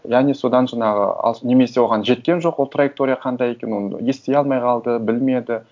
яғни содан жаңағы алыс немесе оған жеткен жоқ ол траектория қандай екенін оны ести алмай қалды білмеді